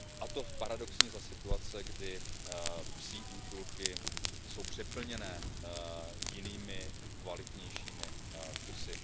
cenu. To paradoxně za situace, kdy psí útulky jsou přeplněné jinými kvalitnějšími